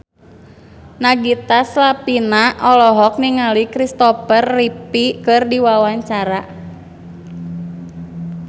Nagita Slavina olohok ningali Christopher Reeve keur diwawancara